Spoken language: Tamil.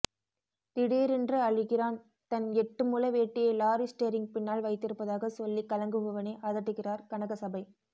திடீரென்று அழுகிறான் தன் எட்டு முழ வேட்டியை லாரி ஸ்டேரிங் பின்னால் வைத்திருப்பதாக சொல்லி கலங்குபவனை அதட்டுகிறார் கனகசபை